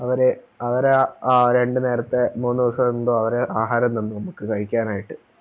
അവര് അവരാ രണ്ട് നേരത്തെ മൂന്ന് ദിവസെന്തോ അവരാ ആഹാരം തന്നെ നമക്ക് കഴിക്കാനായിട്ട്